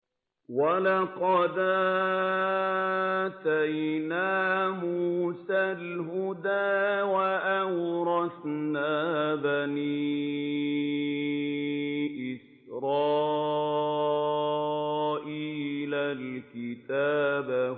وَلَقَدْ آتَيْنَا مُوسَى الْهُدَىٰ وَأَوْرَثْنَا بَنِي إِسْرَائِيلَ الْكِتَابَ